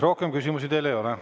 Rohkem küsimusi teile ei ole.